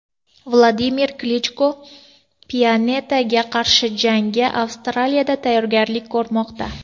Vladimir Klichko Pianetaga qarshi jangga Avstriyada tayyorgarlik ko‘rmoqda .